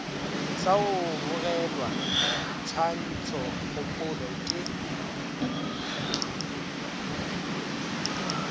sa go bogelwa tshwantšhokgopolo ke